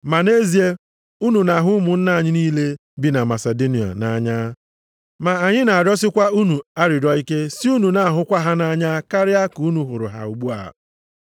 Ma nʼezie, unu na-ahụ ụmụnna anyị niile bi na Masidonia nʼanya. Ma anyị na-arịọsịkwa unu arịrịọ ike sị unu na-ahụkwa ha nʼanya karịa ka unu hụrụ ha ugbu a.